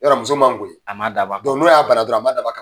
Yɔrɔ muso man ye a ma dabɔ a kama, n'o y'a bana dɔrɔn a ma daba kama ?